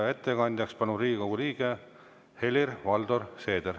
Ettekandjaks palun Riigikogu liikme Helir-Valdor Seedri.